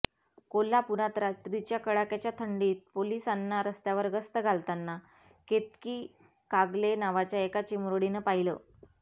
कोल्हापुरात रात्रीच्या कडाक्याच्या थंडीत पोलिसांना रस्त्यावर गस्त घालताना केतकी कागले नावाच्या एका चिमुरडीनं पाहिलं